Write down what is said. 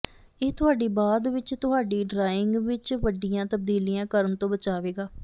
ਇਹ ਤੁਹਾਡੀ ਬਾਅਦ ਵਿੱਚ ਤੁਹਾਡੀ ਡਰਾਇੰਗ ਵਿੱਚ ਵੱਡੀਆਂ ਤਬਦੀਲੀਆਂ ਕਰਨ ਤੋਂ ਬਚਾਵੇਗਾ